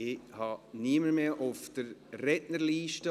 Es gibt keine weiteren Einträge in der Rednerliste.